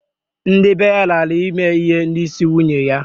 Ndị bee ya lara ime ihe n'isi nyunye ya